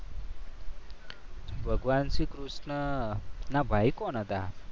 ભગવાન શ્રીકૃષ્ણના ભાઈ કોણ હતા?